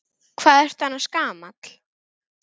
Hvað ertu annars gamall?